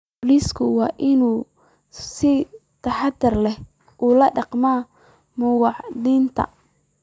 Booliisku waa in uu si taxadar leh ula dhaqmaa muwaadiniinta.